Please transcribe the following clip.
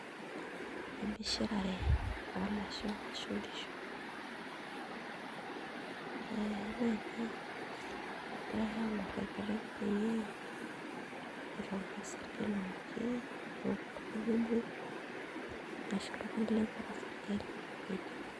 Emishirare oo lasho ashu nkishu ee mee inye, egirai aang'orr enkiteng' pee itauni osarge looki, look oltung'ani omuoi ashu oltung'ani lemeeta osarge oidip.